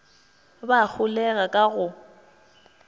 ba a holega ka go